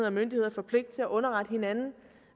og myndigheder får pligt til at underrette hinanden